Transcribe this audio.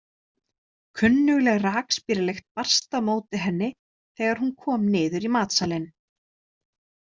Kunnugleg rakspíralykt barst á móti henni þegar hún kom niður í matsalinn.